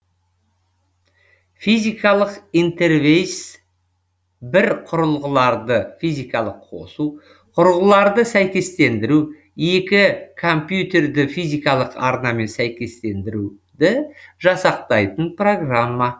физикалық интерфейс бір құрылғыларды физикалық қосу құрылғыларды сәйкестендіру екі компьютерді физикалық арнамен сәйкестендіруді жасақтайтын программа